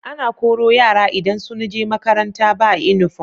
Ana Koro yara idan sunje makaranta ba inufom